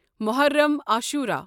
Muharram Ashura